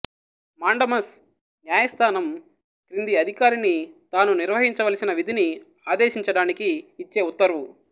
mandamus న్యాయస్థానం క్రింది అధికారిని తాను నిర్వహించవల్సిన విధిని ఆదేశించడానికి ఇచ్చే ఉత్తర్వు